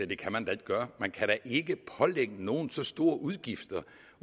det kan man da ikke gøre man kan da ikke pålægge nogen så store udgifter